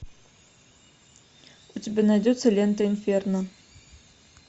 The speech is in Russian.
у тебя найдется лента инферно